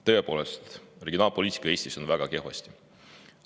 Tõepoolest, regionaalpoliitikaga on Eestis väga kehvasti.